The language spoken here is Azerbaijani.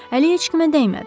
Əli heç kimə dəymədi.